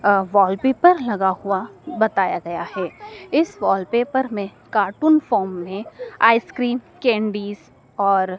अ wallpaper लगा हुआ बताया गया है इस वॉलपेपर में कार्टून फॉर्म में आइसक्रीम कैंडीज और --